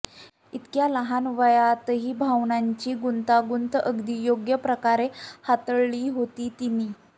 इतक्या लहान वयातही भावनांची गुंतागुंत अगदी योग्य प्रकारे हाताळली होती तिनी